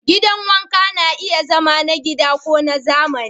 Gidan wanka na iya zama na gida ko na zamani.